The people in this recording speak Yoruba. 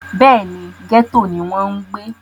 bẹ́ẹ̀ni, gẹ́tò ni wọ́n ń gbé